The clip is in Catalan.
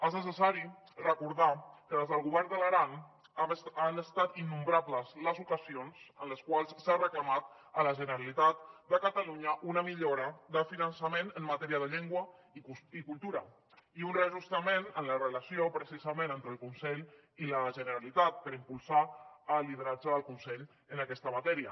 és necessari recordar que des del govern de l’aran han estat innombrables les ocasions en les quals s’ha reclamat a la generalitat de catalunya una millora de finançament en matèria de llengua i cultura i un reajustament en la relació precisament entre el conselh i la generalitat per impulsar el lideratge del conselh en aquesta matèria